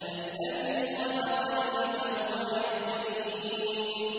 الَّذِي خَلَقَنِي فَهُوَ يَهْدِينِ